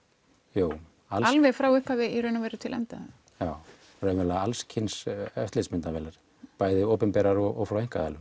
jú alveg frá upphafi í raun og veru til enda já raunverulega alls kyns eftirlitsmyndavélar bæði opinberar og frá einkaaðilum